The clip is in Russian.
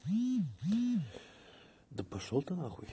да пошёл ты